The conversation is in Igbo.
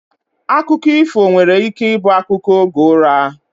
Akụkọ ifo nwere ike ibu akụkọ oge ụra